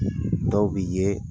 Dɔw bɛ ye.